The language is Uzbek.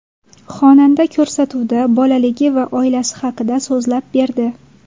Xonanda ko‘rsatuvda bolaligi va oilasi haqida so‘zlab berdi.